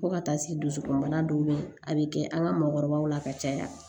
Fo ka taa se dusukunbana dɔw bɛ yen a bɛ kɛ an ka maakɔrɔbaw la ka caya